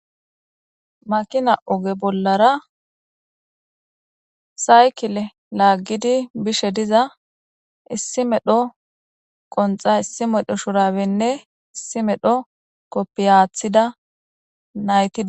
Makina oge bolara saykile lagidi bishe diza issi issi medho qonxa issi medho shurabenne issi medho kopiya atida nayti dosona.